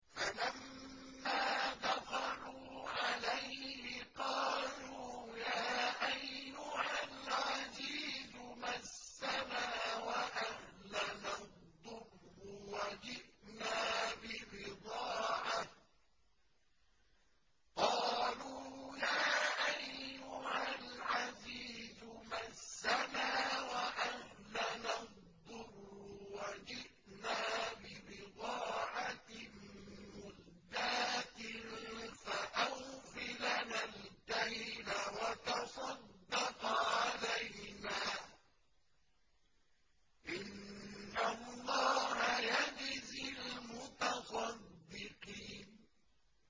فَلَمَّا دَخَلُوا عَلَيْهِ قَالُوا يَا أَيُّهَا الْعَزِيزُ مَسَّنَا وَأَهْلَنَا الضُّرُّ وَجِئْنَا بِبِضَاعَةٍ مُّزْجَاةٍ فَأَوْفِ لَنَا الْكَيْلَ وَتَصَدَّقْ عَلَيْنَا ۖ إِنَّ اللَّهَ يَجْزِي الْمُتَصَدِّقِينَ